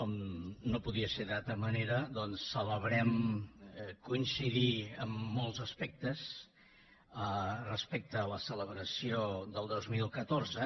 com no podia ser d’una altra manera doncs celebrem coincidir en molts aspectes respecte a la celebració del dos mil catorze